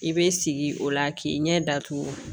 I bɛ sigi o la k'i ɲɛ datugu